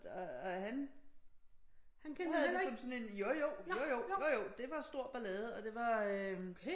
Og han bror havde det som sådan en jo jo jo jo jo jo det var stor ballade og det var